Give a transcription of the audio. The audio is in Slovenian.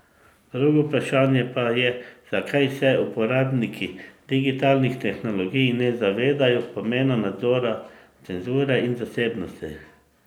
Drugo vprašanje pa je, zakaj se uporabniki digitalnih tehnologij ne zavedajo pomena nadzora, cenzure in zasebnosti.